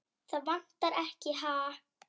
Það vantar ekkert, ha?